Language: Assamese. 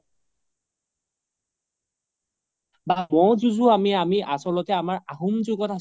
বা ম'হ যুঁজও আমি, আমি আচলতে আমাৰ আহোম